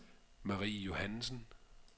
Marie Johannessen